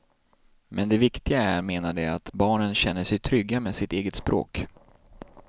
Men det viktiga är, menar de, att barnen känner sig trygga med sitt eget språk.